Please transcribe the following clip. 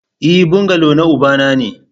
E, bungalow na ubana ne